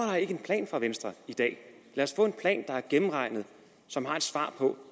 en plan fra venstre i dag lad os få en plan der er gennemregnet som har et svar på